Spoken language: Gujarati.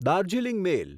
દાર્જિલિંગ મેલ